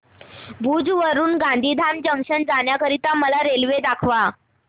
भुज वरून गांधीधाम जंक्शन जाण्या करीता मला रेल्वे दाखवा